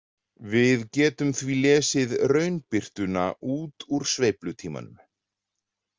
Við getum því lesið raunbirtuna út úr sveiflutímanum.